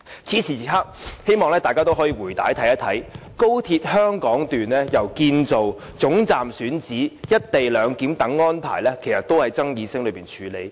此時此刻，希望大家可以回看高鐵香港段由建造、總站選址到"一地兩檢"等安排，其實都是在爭議聲中處理。